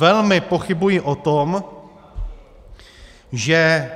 Velmi pochybuji o tom, že